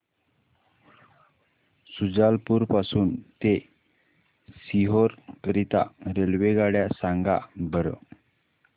शुजालपुर पासून ते सीहोर करीता रेल्वेगाड्या सांगा बरं